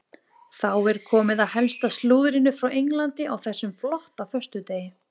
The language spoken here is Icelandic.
Þá er komið að helsta slúðrinu frá Englandi á þessum flotta föstudegi.